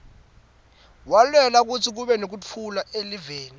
walwela kutsi kube nektfula eliveni